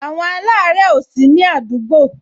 Àwọn alare ó sini àdúgbò